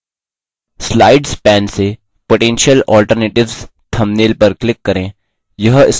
slides pane से potential alternatives thumbnail पर click करें